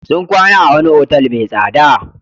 Sun kwana a wani otal mai tsada.